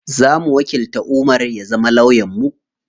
Zamu wakilta Umar ya zama lawyan mu.